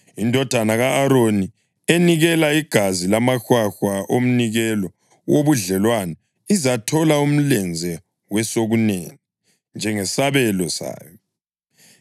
Indodana ka-Aroni enikela igazi lamahwahwa omnikelo wobudlelwano izathola umlenze wesokunene njengesabelo sayo.